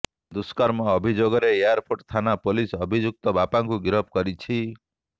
ଦୁଷ୍କର୍ମ ଅଭିଯୋଗରେ ଏୟାରପୋର୍ଟ ଥାନା ପୋଲିସ ଅଭିଯୁକ୍ତ ବାପାକୁ ଗିରଫ କରିଛି